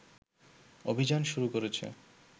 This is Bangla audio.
অভিযান শুরু করেছে